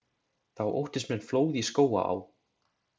Þá óttist menn flóð í Skógaá.